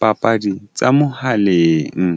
papadi tsa mohaleng.